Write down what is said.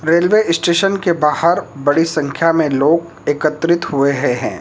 Railway station के बाहर बड़ी संख्या में लोग एकत्रित हुए हैं।